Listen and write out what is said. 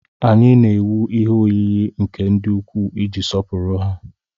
Anyị na-ewu ihe oyiyi nke ndị ukwu iji sọpụrụ ha.